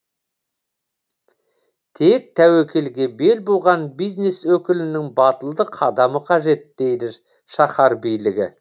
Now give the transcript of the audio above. тек тәуекелге бел буған бизнес өкілінің батылды қадамы қажет дейді шаһар билігі